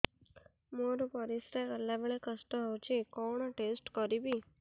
ମୋର ପରିସ୍ରା ଗଲାବେଳେ କଷ୍ଟ ହଉଚି କଣ ଟେଷ୍ଟ କରିବି